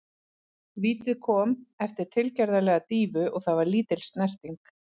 Vítið kom eftir tilgerðarlega dýfu og það var lítil snerting.